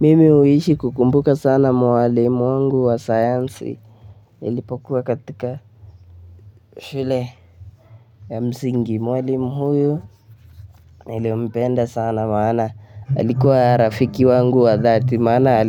Mimi huishi kukumbuka sana mwalimu wangu wa sayansi nilipokuwa katika shule ya msingi. Mwalimu huyu nilimpenda sana maana. Alikuwa rafiki wangu wa dhati maana